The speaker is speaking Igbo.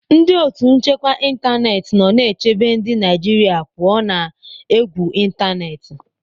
Ndị otu nchekwa ịntanetị nọ na-echebe ndị Naijiria pụọ ​​na égwù ịntanetị.